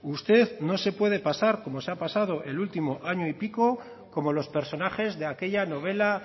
usted no se puede pasar como se ha pasado el último año y pico como los personajes de aquella novela